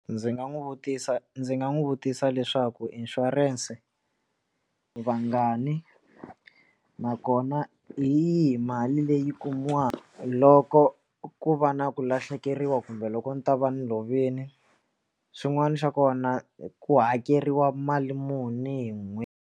Ndzi nga n'wi vutisa ndzi nga n'wi vutisa leswaku inshurense vangani nakona hi yihi mali leyi kumiwaka loko ku va na ku lahlekeriwa kumbe loko ni ta va ni lovini xin'wana xa kona ku hakeriwa mali muni hi n'hweti.